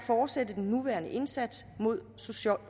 fortsætte den nuværende indsats mod social